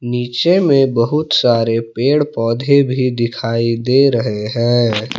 नीचे में बहुत सारे पेड़ पौधे भी दिखाई दे रहे हैं।